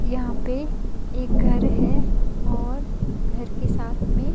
यहां पे एक घर है और घर के साथ में--